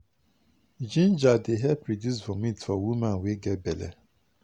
ginger dey help reduce vomit for woman wey get belle.